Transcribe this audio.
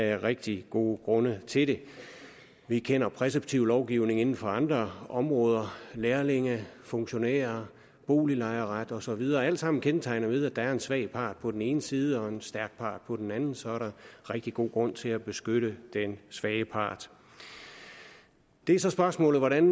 er rigtig gode grunde til det vi kender præceptiv lovgivning inden for andre områder lærlinge funktionærer boliglejeret og så videre det er alt sammen kendetegnet ved at der er en svag part på den ene side og en stærk part på den anden så er der rigtig god grund til at beskytte den svage part det er så spørgsmålet hvordan